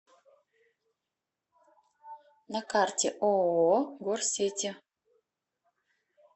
на карте ооо горсети